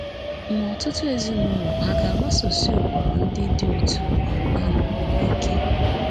Ma ọtụtụ ezinụlọ hà ga-agbasosi ụkpụrụ ndị dị otú um ahụ um ike?